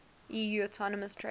eu autonomous trade